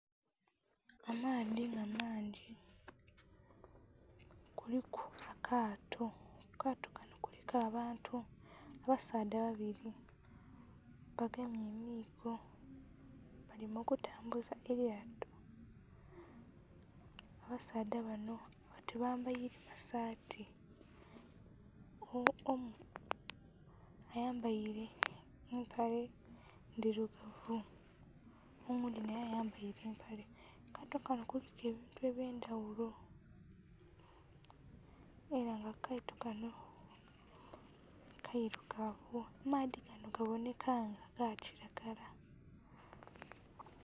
Amaadhi nga mangi kuliku akaato, akaato kanho kuliku abantu abasaadha babiri bagemye emiigo bali mu kutambuza elyato. Abasaadha banho tibambaire masaati omu ayambaire empale ndhirugavu omu oghundhi naye ayambaire. Akaato kanho kuliku ebintu ebye ndhaghulo era nga akaato kanho keirugavu amaadhi ganho gabonheka nga ga kilagala.